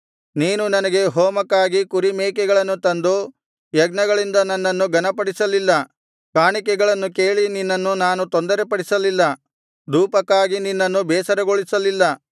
ನೀನು ನನಗೆ ಹೋಮಕ್ಕಾಗಿ ಕುರಿ ಮೇಕೆಗಳನ್ನು ತಂದು ಯಜ್ಞಗಳಿಂದ ನನ್ನನ್ನು ಘನಪಡಿಸಲಿಲ್ಲ ಕಾಣಿಕೆಗಳನ್ನು ಕೇಳಿ ನಿನ್ನನ್ನು ನಾನು ತೊಂದರೆಪಡಿಸಲಿಲ್ಲ ಧೂಪಕ್ಕಾಗಿ ನಿನ್ನನ್ನು ಬೇಸರಗೊಳಿಸಲಿಲ್ಲ